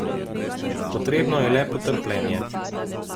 Potrebno je le potrpljenje.